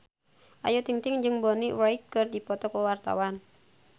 Ayu Ting-ting jeung Bonnie Wright keur dipoto ku wartawan